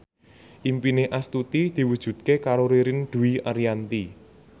impine Astuti diwujudke karo Ririn Dwi Ariyanti